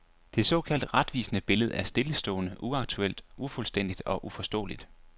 Det såkaldt retvisende billede er stillestående, uaktuelt, ufuldstændigt og uforståeligt.